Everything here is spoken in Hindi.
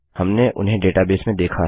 हमने उन्हें डेटाबेस में देखा है